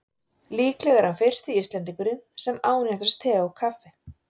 Líklega er hann fyrsti Íslendingurinn sem ánetjast te og kaffi.